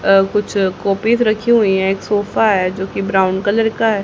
अ कुछ कॉपिज रखी हुई हैं एक सोफा है जो कि ब्राउन कलर का है।